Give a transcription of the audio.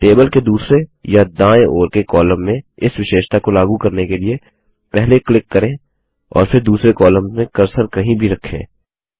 table के दूसरे या दायें ओर के कॉलम में इस विशेषता को लागू करने के लिए पहले क्लिक करें और फिर दूसरे कॉलम में कर्सर कहीं भी रखें